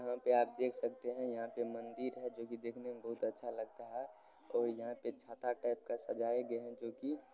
यहाँ पे आप देख सकते हैं यहाँ पे मंदिर है जोकि देखने में बहोत अच्छा लगता है और यहाँ पे छाता टाइप का सजाया गया है जो कि--